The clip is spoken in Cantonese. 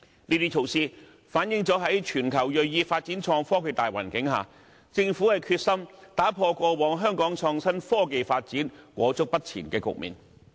這些措施反映了在全球銳意發展創新科技的大環境下，政府決心打破過往香港創新科技發展裹足不前的局面。